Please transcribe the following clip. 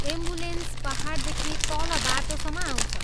Ambulance पाहाडदेखि तल बाटोसम्म आउँछ।